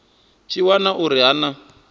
tshi wana uri ha na